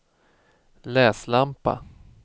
läslampa